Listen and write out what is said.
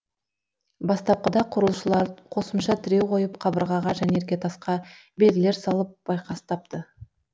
бастапқыда құрылысшылар қосымша тіреу қойып қабырғаға және іргетасқа белгілер салып байқастапты